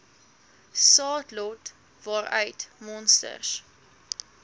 saadlot waaruit monsters